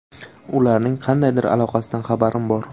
Ularning qandaydir aloqasidan xabarim bor.